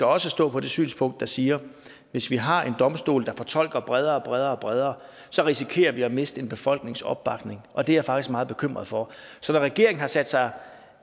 også stå på det synspunkt der siger at hvis vi har en domstol der fortolker bredere bredere og bredere så risikerer vi at miste en befolknings opbakning og det er jeg faktisk meget bekymret for så når regeringen har sat sig